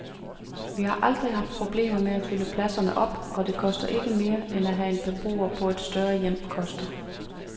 Vi har aldrig haft problemer med at fylde pladserne op, og det koster ikke mere, end hvad en beboer på et større hjem koster.